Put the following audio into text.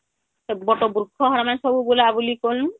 ବଟ ବୃକ୍ଷ ହେନମେ ସବୁ ବୁଲା ବୁଲି କନୁ